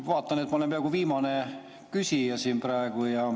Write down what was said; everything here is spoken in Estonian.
Ma vaatan, et ma olen viimane küsija siin praegu.